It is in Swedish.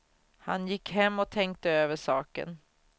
Han gick hem och tänkte över saken.